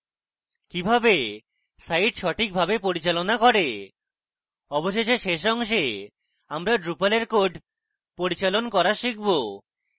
কিভাবে site সঠিকভাবে পরিচালনা করে; অবশেষে শেষ অংশে আমরা drupal এর কোড পরিচালন করা শিখব